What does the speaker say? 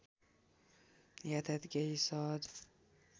यातायात केही सहज